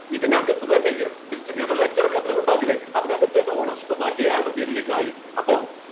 ഇതിനകത്ത് തന്നെ ഈ ഒരു distributor ledger ഒക്കെ അതിലും ഉണ്ടാവില്ലേ അതിനകത്ത് തന്നെ ownership മാറ്റി അയാളുടെ പേരിലേക്ക് ആയി അപ്പോ